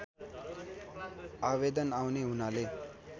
आवेदन आउने हुनाले